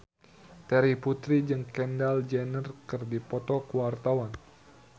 Terry Putri jeung Kendall Jenner keur dipoto ku wartawan